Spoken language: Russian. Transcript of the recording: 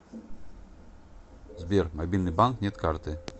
сбер мобильный банк нет карты